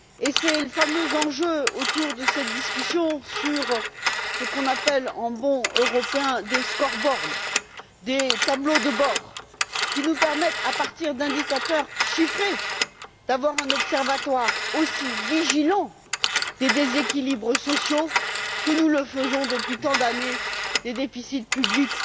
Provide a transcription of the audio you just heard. C'est le fameux enjeu autour de cette discussion sur ce qu'on appelle, en bon Européen, des scoreboards des tableaux de bord qui nous permettent, à partir d'indicateurs chiffrés, de disposer d'un observatoire aussi attentif aux déséquilibres sociaux que nous le sommes depuis tant d'années aux déficits publics